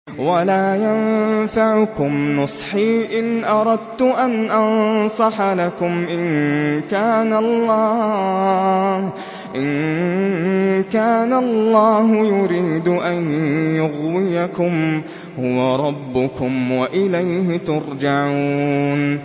وَلَا يَنفَعُكُمْ نُصْحِي إِنْ أَرَدتُّ أَنْ أَنصَحَ لَكُمْ إِن كَانَ اللَّهُ يُرِيدُ أَن يُغْوِيَكُمْ ۚ هُوَ رَبُّكُمْ وَإِلَيْهِ تُرْجَعُونَ